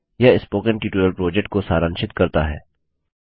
यह spoken tutorial project को सारांशित करता है